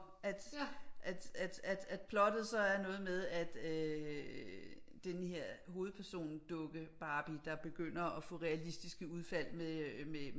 At at plottet så er noget med at øh denne her hovedperson dukke barbie der begynder at få realistiske udfald med øh med